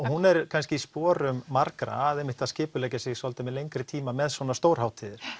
hún er kannski í sporum margra að einmitt skipuleggja sig svolítið með lengri tíma með svona stórhátíðir